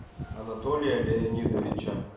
анатолия леонидовича